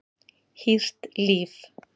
Hýrt líf